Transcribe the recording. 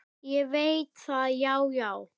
Ég veit það, já, já.